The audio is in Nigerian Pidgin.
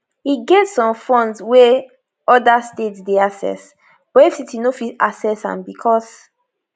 e get some funds wey oda states dey access but fct no fit access am becos